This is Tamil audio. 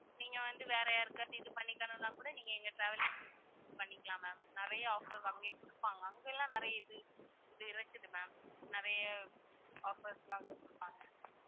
நீங்க வந்து வேற யாருக்காவது இது பண்ணிக்கணும்னா கூட நீங்க எங்க travels பண்ணிக்கலாம் ma'am நிறைய offer அங்கேயே குடுப்பாங்க அங்ககெல்லாம் நிறைய இது இது இருக்குது ma'am நிறைய offers லாம் அங்கயே குடுப்பாங்க